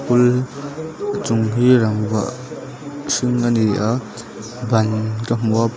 school a chung hi rangva hring ani a ban ka hmu a.